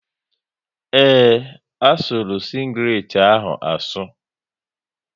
Ee, asuru sịnglet ahụ asu